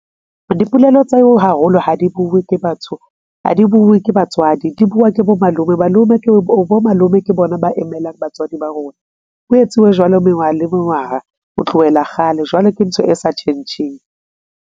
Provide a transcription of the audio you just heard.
Dipolelo tsa ho haholo ha di bue ke batho, ha di bue ke batswadi di bua ke bo malome. Malome ke bo malome ke bona ba emelang batswadi ba rona. Ho etsuwe jwalo mengwaha le mengwaha ho tlohela kgale. Jwale ke ntho e sa tjhentjheng.